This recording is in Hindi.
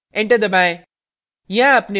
enter दबाएं